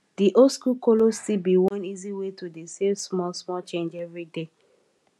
di oldschool kolo still be one easy way to dey save small small change every day